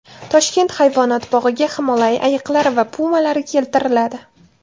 Toshkent hayvonot bog‘iga Himolay ayiqlari va pumalar keltiriladi.